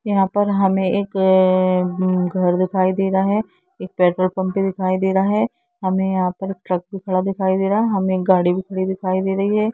यहाॅं पर हमें एक अ-अ-अ-मम्मम घर दिखाई दे रहा है एक पेट्रोल पंप भी दिखाई दे रहा है हमें यहाॅं पर ट्रक भी खड़ा दिखाई रहा है हमें एक गाड़ी भी खड़ी दिखाई दे रही है।